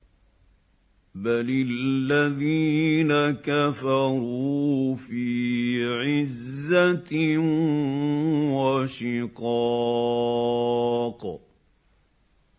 بَلِ الَّذِينَ كَفَرُوا فِي عِزَّةٍ وَشِقَاقٍ